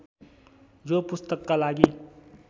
यो पुस्तकका लागि